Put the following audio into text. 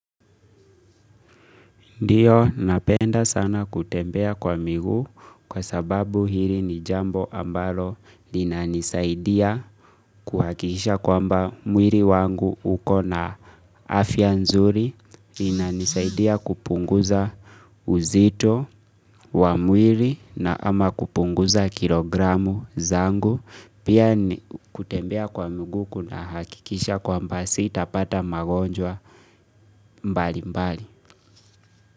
Ndio napenda sana kutembea kwa miguu kwa sababu hili ni jambo ambalo lina nisaidia kuhakikisha kwamba mwili wangu uko na afya nzuri linanisaidia kupunguza uzito wa mwili na ama kupunguza kilogramu zangu pia kutembea kwa miguu kunahakikisha kwamba sitapata magonjwa mbali mbali.